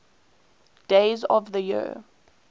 days of the year